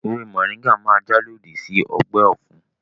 Ewé mọ̀ríńgà máa jà lòdì sí ọgbẹ́ ọ̀fun